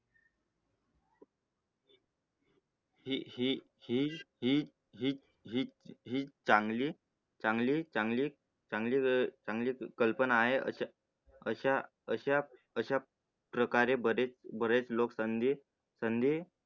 हे हे हे हे हिल चांगली चांगली चांगली चांगली कल्पना आहे, असे अशा अशा अशा प्रकारे बरेच बरेच लोक संधी कधी कधी